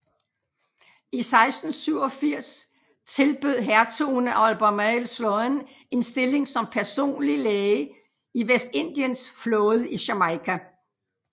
I 1687 tilbød Hertugen af Albemarle Sloane en stilling som personlig læge i Vestindiens flåde i Jamaica